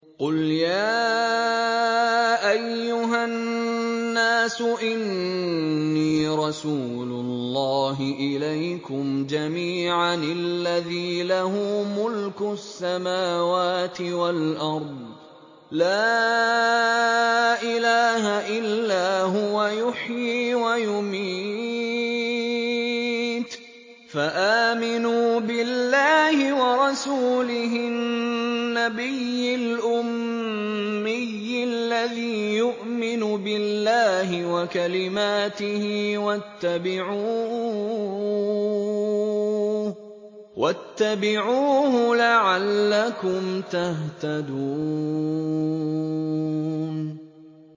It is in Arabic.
قُلْ يَا أَيُّهَا النَّاسُ إِنِّي رَسُولُ اللَّهِ إِلَيْكُمْ جَمِيعًا الَّذِي لَهُ مُلْكُ السَّمَاوَاتِ وَالْأَرْضِ ۖ لَا إِلَٰهَ إِلَّا هُوَ يُحْيِي وَيُمِيتُ ۖ فَآمِنُوا بِاللَّهِ وَرَسُولِهِ النَّبِيِّ الْأُمِّيِّ الَّذِي يُؤْمِنُ بِاللَّهِ وَكَلِمَاتِهِ وَاتَّبِعُوهُ لَعَلَّكُمْ تَهْتَدُونَ